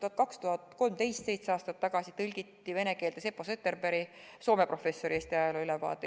Aastal 2013, seitse aastat tagasi tõlgiti vene keelde Seppo Zetterbergi, Soome professori Eesti ajaloo ülevaade.